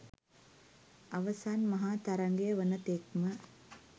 අවසන් මහා තරගය වන තෙක්ම